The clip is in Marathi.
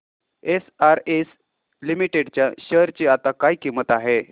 एसआरएस लिमिटेड च्या शेअर ची आता काय किंमत आहे